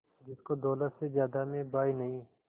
जिसको दौलत से ज्यादा मैं भाई नहीं